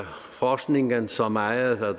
forskningen så meget at